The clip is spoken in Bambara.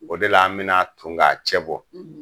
O de la an bi na ton ka cɛ bɔ.